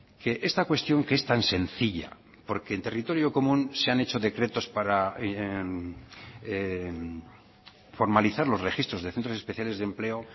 que esta cuestión que es tan sencilla porque en territorio común se han hecho decretos para formalizar los registros de centros especiales de empleo